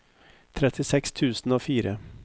trettiseks tusen og fire